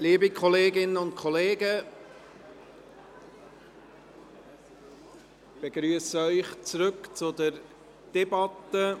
Liebe Kolleginnen und Kollegen, ich begrüsse Sie zurück an der Debatte.